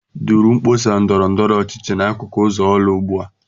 Duru mkpọsa ndọrọ ndọrọ ọchịchị n'akụkụ ụzọ Orlu ugbu a!